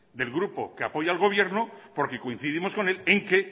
del grupo que apoya al gobierno porque coincidimos con él en que